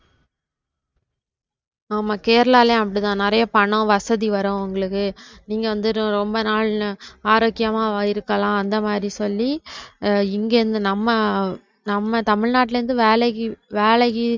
ஆமா கேரளாலயும் அப்படிதான். நிறைய பணம் வசதி வரும் உங்களுக்கு நீங்க வந்து ரொம்ப நாள் ஆரோக்கியமா இருக்கலாம் அந்த மாதிரி சொல்லி இங்க இருந்து நம்ம நம்ம தமிழ்நாட்ல இருந்து வேலைக்கு வேலைக்கு